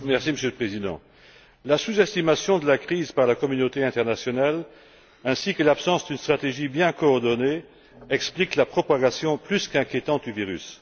Monsieur le Président, la sous estimation de la crise par la communauté internationale ainsi que l'absence d'une stratégie bien coordonnée expliquent la propagation plus qu'inquiétante du virus.